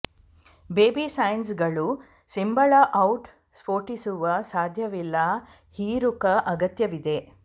baby ಸೈನಸ್ಗಳು ಸಿಂಬಳ out ಸ್ಫೋಟಿಸುವ ಸಾಧ್ಯವಿಲ್ಲ ಹೀರುಕ ಅಗತ್ಯವಿದೆ